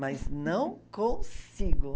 Mas não consigo.